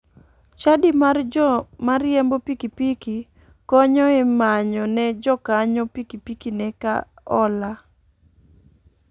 Chadi mar jo mariembo pikipiki konyo e manyo ne jakanyo pikipikine ka ola.